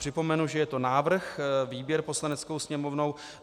Připomenu, že je to návrh, výběr Poslaneckou sněmovnou.